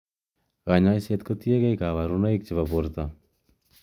Kanyaishet ko tiekei kabarunoik che bo borto.